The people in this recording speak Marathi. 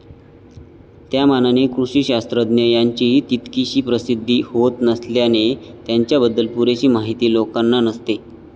त्यामानाने कृषिशास्त्रज्ञ यांची तितकीशी प्रसिद्धी होत नसल्याने त्यांच्याबद्दल पुरेशी माहिती लोकांना नसते.